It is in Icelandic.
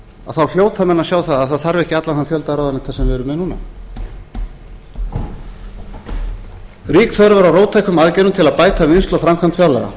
þá hljóta menn að sjá að það þarf ekki allan þann fjölda ráðuneyta sem við erum með núna rík þörf er á róttækum aðgerðum til að bæta vinnslu og framkvæmd fjárlaga